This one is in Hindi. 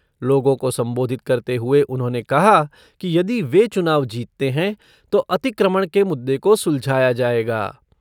लोगों को संबोधित करते हुए उन्होंने कहा कि यदि वे चुनाव जीतते हैं, तो अतिक्रमण के मुददे को सुलझाया जाएगा।